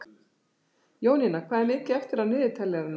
Jónína, hvað er mikið eftir af niðurteljaranum?